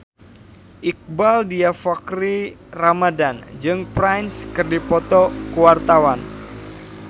Iqbaal Dhiafakhri Ramadhan jeung Prince keur dipoto ku wartawan